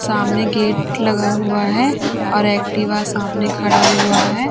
सामने गेट लगा हुआ है और एक्टिवा सामने खड़ा हुआ है।